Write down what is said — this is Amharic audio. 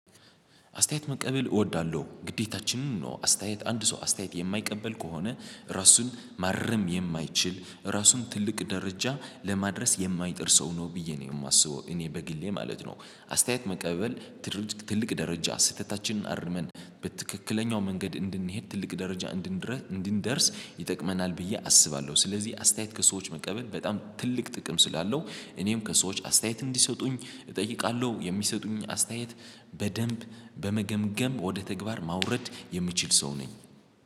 አስተያየት መቀበል እወዳለሁ ግዴታችንን ነው። አስተያየት አንድ ሰው አስተያየት የማይቀበል ከሆነ ራሱን ማረም የማይችል ራሱን ትልቅ ደረጃ ለማድረስ የማይጥር ሰው ነው ብዬ ነው የማስበው እኔ በግሌ ማለት ነው። አስተያየት መቀበል ትልቅ ትልቅ ደረጃ ስህተታችንን አርመን በትክክለኛው መንገድ እንድንሄድ ትልቅ ደረጃ እንድንደርስ ይጠቅመናል ብዬ አስባለሁ። ስለዚህ አስተያየት ከሰዎች መቀበል በጣም ትልቅ ጥቅም ስላለው እኔም ከሰዎች አስተያየት እንዲሰጡኝ እጠይቃለሁ የሚሰጡኝ አስተያየት በደንብ በመገምገም ወደ ተግባር ማውረድ የምችል ሰው ነኝ።